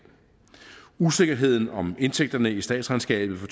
usikkerheden om indtægterne i statsregnskabet for